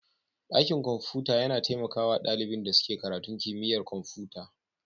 Dakin kwamfuta yana taimaka wa ɗalibin da suke karatun kimiyyar kwamfuta.